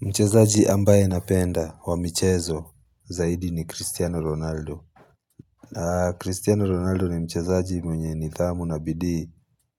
Mchezaji ambaye napenda wa michezo zaidi ni Cristiano Ronaldo. Cristiano Ronaldo ni mchezaji mwenye nidhamu na bidii